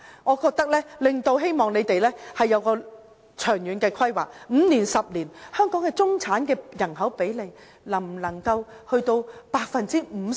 我希望政府要有長遠規劃，在5年或10年後，香港中產的人口比例能否達到 50%？